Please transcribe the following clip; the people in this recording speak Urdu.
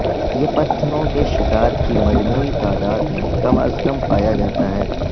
یہ پتھروں کے شکار کی مجموعی تعداد میں کم از کم پایا جاتا ہے